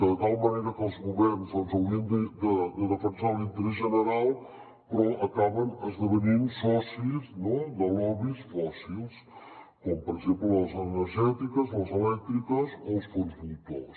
de tal manera que els governs haurien de defensar l’interès general però acaben esdevenint socis no de lobbys fòssils com per exemple de les energètiques les elèctriques o els fons voltors